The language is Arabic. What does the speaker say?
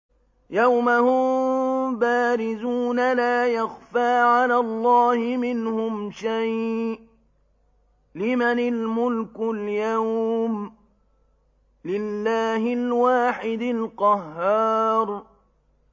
يَوْمَ هُم بَارِزُونَ ۖ لَا يَخْفَىٰ عَلَى اللَّهِ مِنْهُمْ شَيْءٌ ۚ لِّمَنِ الْمُلْكُ الْيَوْمَ ۖ لِلَّهِ الْوَاحِدِ الْقَهَّارِ